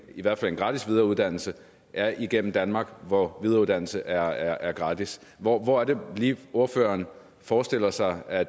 i hvert fald en gratis videreuddannelse er igennem danmark hvor videreuddannelse er er gratis hvor hvor er det lige ordføreren forestiller sig at